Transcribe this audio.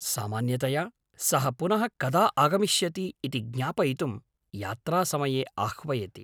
सामान्यतया सः पुनः कदा आगमिष्यति इति ज्ञापयितुं यात्रासमये आह्वयति।